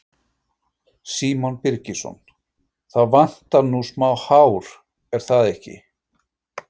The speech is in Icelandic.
Símon Birgisson: Það vantar nú smá hár, er það ekki?